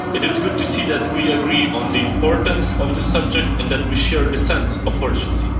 It is good to see that we agree on the importance of this subject, and that we share a sense of urgency.